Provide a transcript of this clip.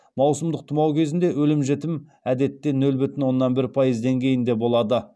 маусымдық тұмау кезіндегі өлім жітім әдетте нөл бүтін оннан бір пайыз деңгейінде болады